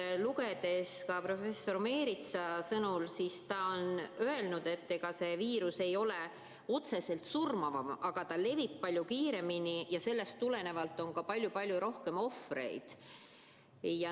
Olen lugenud professor Meritsa öeldut, et see viirus ei ole otseselt surmavam, aga ta levib palju kiiremini ja sellest tulenevalt on palju-palju rohkem ohvreid.